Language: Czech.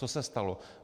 Co se stalo?